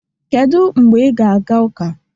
Kedu mgbe ị ga-aga ụka?